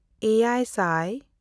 ᱮᱭᱟᱭᱼᱥᱟᱭ